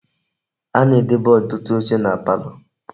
A na-edebe otutu oche na palo.